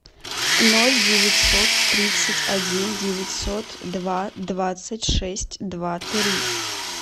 ноль девятьсот тридцать один девятьсот два двадцать шесть два три